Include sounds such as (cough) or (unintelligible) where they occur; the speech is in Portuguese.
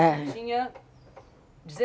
Tinha (unintelligible)